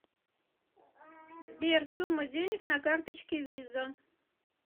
сбер сумма денег на карточке виза